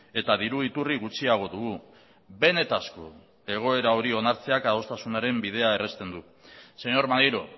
eta diru iturri gutxiago dugu benetako egoera hori onartzeak adostasunaren bidea errazten du señor maneiro